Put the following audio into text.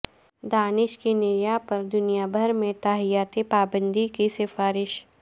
دانش کنیریا پر دنیا بھر میں تاحیات پابندی کی سفارش